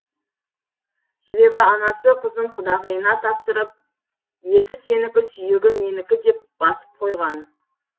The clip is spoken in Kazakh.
себебі анасы қызын құдағиына тапсырып еті сенікі сүйегі менікі деп басып қойған